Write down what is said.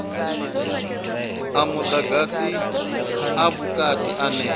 a mudagasi a vhukati ane